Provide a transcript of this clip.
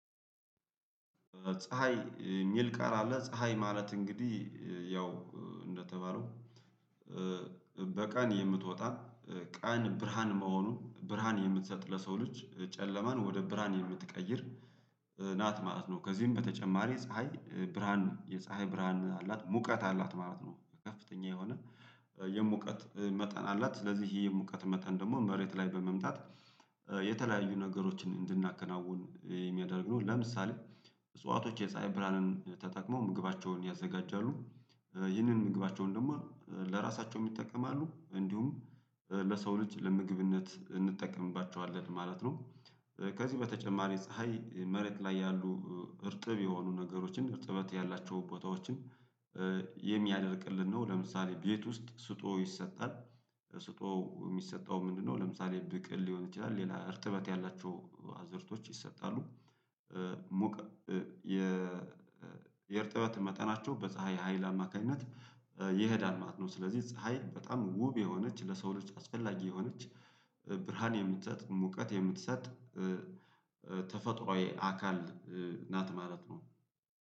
ፀሀይ እሚል ቃል አለ ፀሀይ ማለት እንግዲህ ያው እንደተባለው በቀን የምትወጣ ቀን ብርሃን መሆኑን ብርሃን የምትሰጥ ለሰው ልጅ ጨለማን ወደ ብርሃን የምትቀይር ናት ማለት ነው ከዚህም በተጨማሪ ፀሀይ ብርሃን የፀሀይ ብርሃን አላት ሙቀት አላት ማለት ነው ከፍተኛ የሆነ የሙቀት መጠን አላት ለዚህ የሙቀት መጠን ደግሞ መሬት ላይ በመምጣት የተለያዩ ነገሮችን እንድናከናውን የሚያደርግ ነው ለምሳሌ እጽዋቶች የፀሀይ ብርህአንን ተጠቅመው ምግባቸውን ያዘጋጃሉ ይህንን ምግባቸውን ደግሞ ለራሳቸው ይጠቀማሉ እንዲሁም ለሰው ልጅ ለምግብነት እንጠቀምባቸዋለን ማለት ነው ከዚህ በተጨማሪ ፀሀይ መሬት ላይ ያሉ እርጥብ የሆኑ ነገሮችን እርጥበት ያላቸው ቦታዎችን የሚያደርቅልን ነው። ለምሳሌ ቤት ውስጥ ስጦ ይሰጣል ስጦ የሚሰጠው ምንድነው ለምሳሌ ብቅል ሊሆን ይችላል ሌላ እርትበት ያላቸው አዝእርቶች ይሰጣሉ ሞቅ የእርጥበት መጠናቸው በፀሀይ ሀይል አማካኝነት ይሄዳል ማለት ነው ስለዚህ ፀሀይ በጣም ውብ የሆነች ለሰው ልጅ አስፈላጊ የሆነች ብርሃን የምትሰጥ ሙቀት የምትሰጥ ተፈጥሮአዊ አካል ናት ማለት ነው